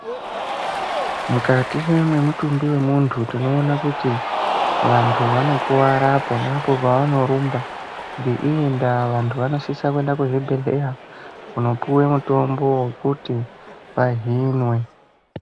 Mukati mwemutumbi wemuntu tinoona kuti vantu vanokuwara apo neapo pavanorumba. Ngeiyi ndaa vantu vanosisa kuenda kuzvibhedhleya kunopuwe mutombo wekuti vahinwe.